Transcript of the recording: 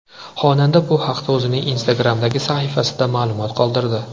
Xonanda bu haqda o‘zining Instagram’dagi sahifasida ma’lumot qoldirdi .